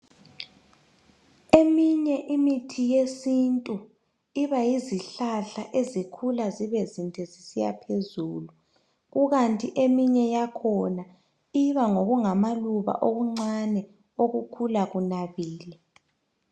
Eminye imithi yesintu iba yizihlahla ezikhula zibe zinde zisiya phezulu, ikanti eminye yakhona iba ngokungamaluba okuncane okukhula kunabile.